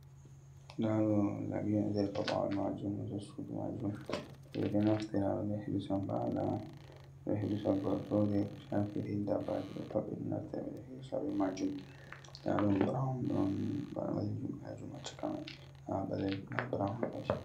Ɗa ɗo labi ha nɗer paɗawal majum, ɗer sudu majum. Beɗo naftira, he hirsa hala, gortoɗe. Ko shafi iri ɗabbaji ɗo pat beɗo hirsa be mai. Nɗa ɗum Burou ɗon balejum ha chaka mai. Nɗa burau ha karshe.